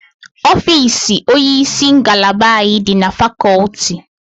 Ofiisi onyeisi ngalaba anyị dị na fakọlti